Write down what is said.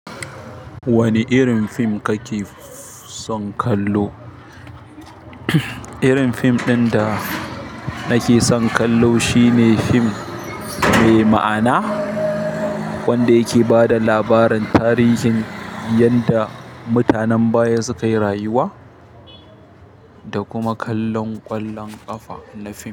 Wane irin fim kake son kallo? Irin fim ɗin da nake son kallo shine fim mai ma'ana wanda yake ba da labarin tarihin yadda mutanen baya suka yi rayuwa da kuma kallon ƙwallon ƙafa na fim.